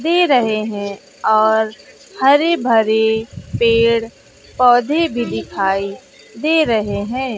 दे रहे हैं और हरे भरे पेड़ पौधे भी दिखाई दे रहे हैं।